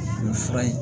O ye fura ye